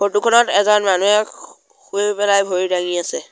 Photo খনত এজন মানহে শু শুই পেলাই ভৰি ডাঙি আছে।